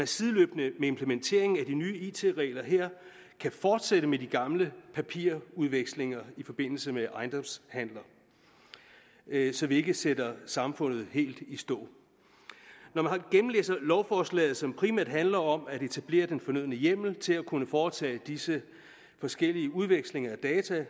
sideløbende med implementeringen af de nye it regler her kan fortsætte med de gamle papirudvekslinger i forbindelse med ejendomshandler så vi ikke sætter samfundet helt i stå når man gennemlæser lovforslaget som primært handler om at etablere den fornødne hjemmel til at kunne foretage disse forskellige udvekslinger af data